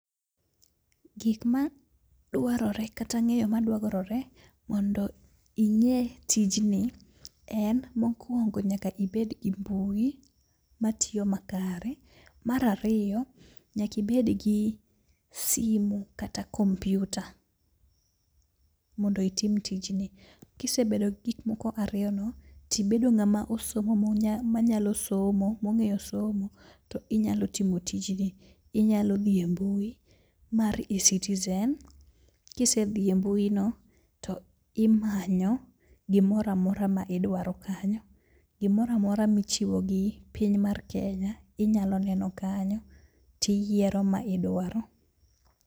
Gik ma dwarore kata ng'eyo ma dwarore mondo ing'e tijni en mokwongo nyaka ibed gi mbui matiyo makare. Marariyo, nyakibed gi simu kata kompyuta mondo itim tijni. Kisebedo gi gik moko ariyo no, tibedo ng'ama osomo ma nyalo somo mongeyo somo, to inyalo tiyo tijni. Inyalo dhi e mbui mae e-Citizen. Kise dhi e mbui no, to imanyo gimora mora ma idwaro kanyo. Gimoramora ma ichiwo gi piny mar Kenya inyalo neno kanyo tiyiero ma idwaro.